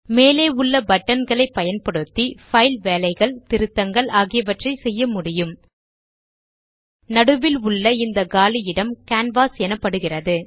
மேலே உள்ள buttonகளைப் பயன்படுத்தி பைல் வேலைகள் திருத்தங்கள் ஆகியவற்றை செய்ய முடியும் நடுவில் உள்ள இந்த காலி இடம் கேன்வாஸ் எனப்படுகிறது